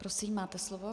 Prosím, máte slovo.